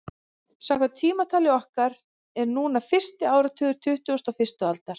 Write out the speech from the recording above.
Samkvæmt tímatali okkar er núna fyrsti áratugur tuttugustu og fyrstu aldar.